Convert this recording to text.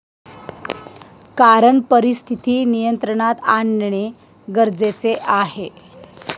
कारण परिस्थिती नियंत्रणात आणणे गरजेचे आहे.